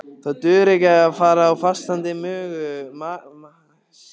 Það dugar ekki að fara á fastandi maga á söguslóðir.